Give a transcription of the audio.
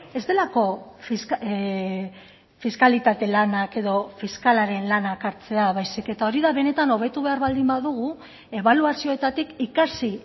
ez delako fiskalitate lanak edo fiskalaren lanak hartzea baizik eta hori da benetan hobetu behar baldin badugu ebaluazioetatik ikasi